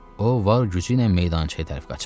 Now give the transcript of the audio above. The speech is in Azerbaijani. O var gücü ilə meydançaya tərəf qaçırdı.